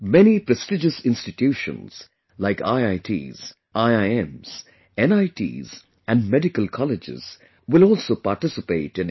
Many prestigious institutions like IITs, IIMs, NITs and Medical Colleges will also participate in it